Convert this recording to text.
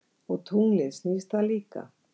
Og tunglið, snýst það líka?